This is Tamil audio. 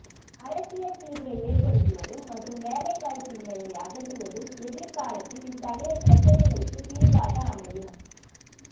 அரசியல் தீர்வை ஏற்படுத்துவதும் மற்றும் வேலைவாய்ப்பின்மையை அகற்றுவதும் எதரி்காலத்தில் இத்தகைய பிரச்னைகளுக்கு தீர்வாக அமையும்